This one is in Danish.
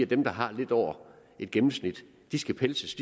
dem der har lidt over et gennemsnit skal pelses